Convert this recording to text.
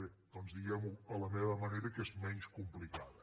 bé doncs diguem ho a la meva manera que és menys complicada